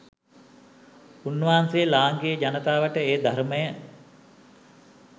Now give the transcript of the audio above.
උන්වහන්සේ ලාංකීය ජනතාවට ඒ ධර්මය